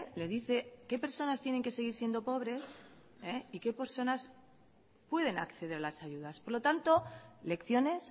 le dice que personas tienen que seguir siendo pobres y que personas pueden acceder a las ayudas por lo tanto lecciones